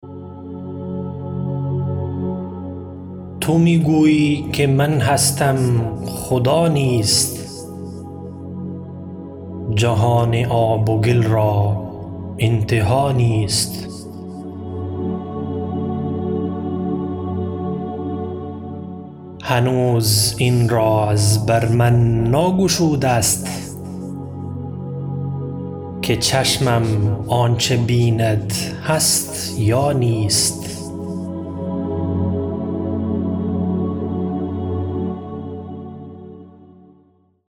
تو می گویی که من هستم خدا نیست جهان آب و گل را انتها نیست هنوز این راز بر من ناگشود است که چشمم آنچه بیند هست یا نیست